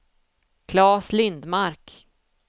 Klas Lindmark